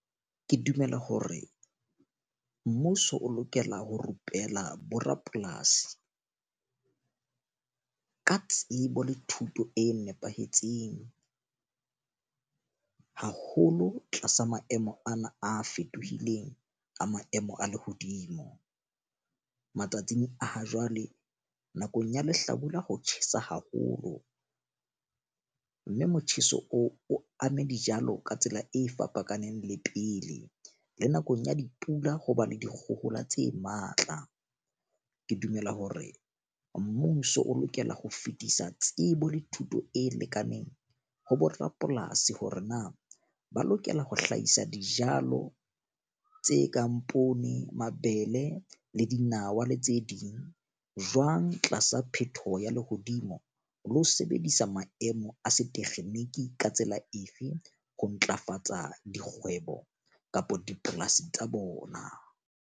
Ke dumela hore mmuso o lokela ho rupela borapolasi ka tsebo le thuto e nepahetseng, haholo tlasa maemo ana a fetohileng a maemo a lehodimo. Matsatsing a ha jwale nakong ya lehlabula, ho tjhesa haholo. Mme motjheso oo o ame dijalo ka tsela e fapakaneng le pele le nakong ya dipula. Ho ba le dikgohola tse matla. Ke dumela hore mmuso o lokela ho fetisa tsebo le thuto e lekaneng ho bo rapolasi hore na ba lokela ho hlahisa dijalo tse kang poone, mabele le dinawa, le tse ding jwang tlasa phetoho ya lehodimo, le ho sebedisa maemo a setekgeniki ka tsela efe ho ntlafatsa dikgwebo kapa dipolasi tsa bona.